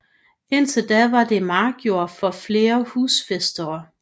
Indtil da var det markjord for flere husfæstere